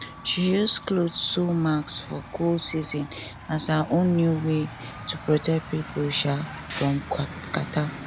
she use cloth sew mask for cold season as her own new way to protect pipo um from catarrh